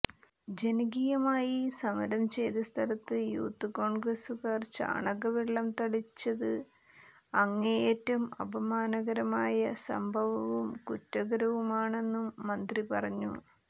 ജനകീയമായി സമരം ചെയ്ത സ്ഥലത്ത് യൂത്ത് കോൺഗ്രസുകാർ ചാണകവെള്ളം തളിച്ചത് അങ്ങേയറ്റം അപമാനകരമായ സംഭവവും കുറ്റകരവുമാണെന്നും മന്ത്രി പറഞ്ഞു